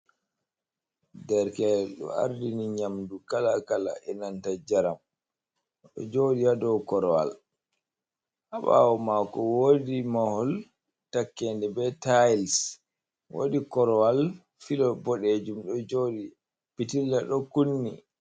Derke do ardini nyamdu kala kala e nanta jaram do jodi yado korowal habawo mako wodi mahol takkende be tailes wadi korowal filo bodejum do jodi pitilla do kunni.